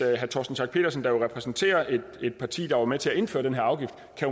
herre torsten schack pedersen der jo repræsenterer et parti der var med til at indføre den her afgift